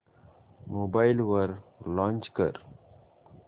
mobile वर launch कर